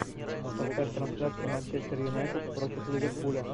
поставь трансляцию манчестер юнайтед против ливерпуля